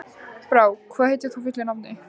Brák, hvað heitir þú fullu nafni?